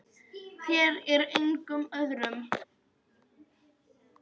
Þér og engum öðrum.